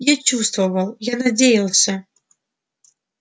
я чувствовал я надеялся